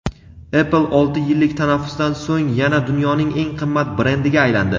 Apple olti yillik tanaffusdan so‘ng yana dunyoning eng qimmat brendiga aylandi.